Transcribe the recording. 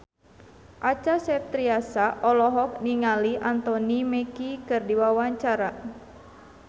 Acha Septriasa olohok ningali Anthony Mackie keur diwawancara